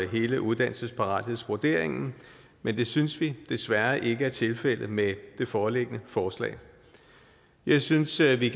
hele uddannelsesparathedsvurderingen men det synes vi desværre ikke er tilfældet med det foreliggende forslag jeg synes vi